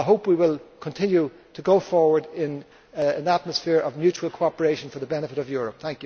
I hope we will continue to go forward in an atmosphere of mutual cooperation for the benefit of Europe.